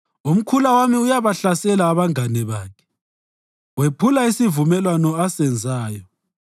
Umkhula wami uyabahlasela abangane bakhe; wephula isivumelwano asenzayo.